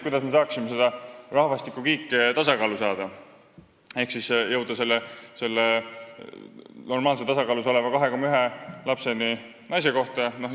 Kuidas me saaksime rahvastikukiige tasakaalu viia ehk jõuda selle normaalse, tasakaalu tagava 2,1 lapseni naise kohta?